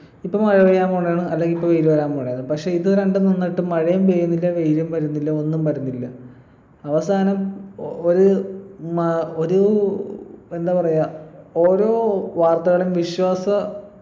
ഇപ്പൊ മഴപെയ്യാൻ പോണേ ആണ് അല്ലെങ്കി ഇപ്പോ വെയില് വരാൻ പോണേ ആണ് പക്ഷെ ഇത് രണ്ടും വന്നിട്ടും മഴയും പെയ്യുന്നില്ല വെയിലും വരുന്നില്ല ഒന്നും വരുന്നില്ല അവസാനം ഒരു മഴ ഒരു എന്താ പറയാ ഓരോ വാർത്തകളും വിശ്വാസ